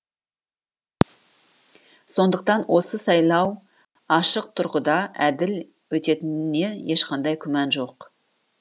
сондықтан осы сайлау ашық тұрғыда әділ өтетініне ешқандай күмән жоқ